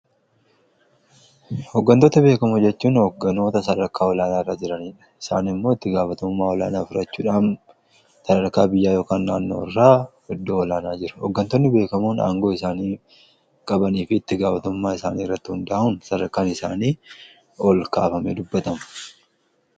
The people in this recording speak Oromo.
Hoggantoota beekamoo jechuun hogganoota sadarkaa olaanaa irraa jiraniidha. Isaan immoo itti gaafatamaa olaanaa fudhachuudhaan sadarkaa biyyaa yookaan naannoo irraa iddoo olaanaa jiru. Hoggantootni beekamoon aangoo isaanii qabanii fi itti gaafatumummmaa isaanii irratti hundaa'uun sadarkaan isaanii ol kaafamee dubbatama.